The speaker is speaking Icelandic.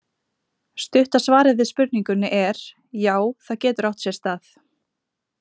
Stutta svarið við spurningunni er: Já, það getur átt sér stað.